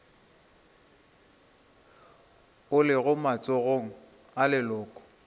o lego matsogong a leloko